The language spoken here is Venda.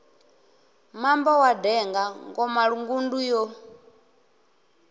mambo wa denga ngomalungundu yo